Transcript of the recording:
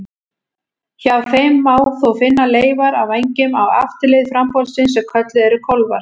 Hjá þeim má þó finna leifar af vængjum á afturlið frambolsins sem kölluð eru kólfar.